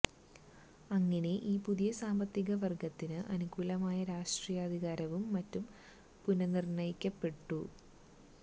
അങ്ങനെ ഈ പുതിയ സാമ്പത്തിക വര്ഗത്തിന് അനുകൂലമായി രാഷ്ട്രീയാധികാരവും മറ്റും പുനര്നിര്ണയിക്കപ്പെട്ടു